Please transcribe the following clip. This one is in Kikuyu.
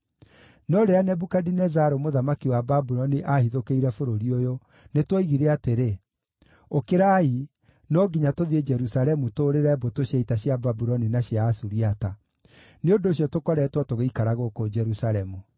No rĩrĩa Nebukadinezaru mũthamaki wa Babuloni aahithũkĩire bũrũri ũyũ, nĩtwoigire atĩrĩ: ‘Ũkĩrai, no nginya tũthiĩ Jerusalemu tũũrĩre mbũtũ cia ita cia Babuloni na cia Asuriata.’ Nĩ ũndũ ũcio tũkoretwo tũgĩikara gũkũ Jerusalemu.”